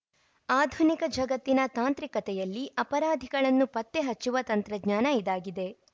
ಆಧುನಿಕ ಜಗತ್ತಿನ ತಾಂತ್ರಿಕತೆಯಲ್ಲಿ ಅಪರಾಧಿಗಳನ್ನು ಪತ್ತೆ ಹಚ್ಚುವ ತಂತ್ರಜ್ಞಾನ ಇದಾಗಿದೆ